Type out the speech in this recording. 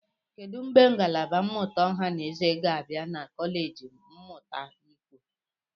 Kedu mgbe ngalaba mmụta ọha na eze ga-abịa na kọleji mmụta ikwo?